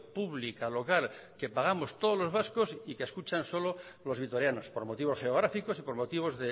pública local que pagamos todos los vascos y que escuchan solo los vitorianos por motivos geográficos y por motivos